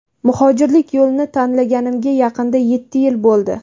Muhojirlik yo‘lini tanlaganimga yaqinda yetti yil bo‘ldi.